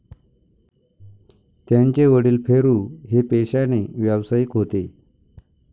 त्यांचे वडिल फेरू हे पेशाने व्यवसायिक होते.